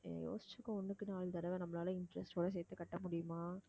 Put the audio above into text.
நீ யோசிச்சுக்கோ ஒண்ணுக்கு நாலு தடவை நம்மளால interest ஓட சேர்த்து கட்ட முடியுமா